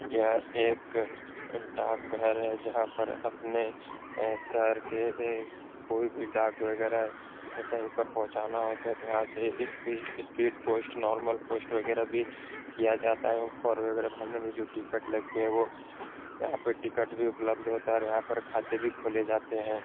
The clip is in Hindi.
यह एक डाक घर है जहाँ पर अपने शहर के एक कोई भी डाक वगेरा कहीं पर पहुंचाना होता है तो यहाँ से ये एक स्पीड पोस्ट नार्मल पोस्ट वगेरा भी किया है और फॉर्म वगेरा भरने में जो टिकट वगेरा लगते हैं वो यहाँ पे टिकट भी उपलब्ध होता है और यहाँ पर खाते भी खोले जाते हैं।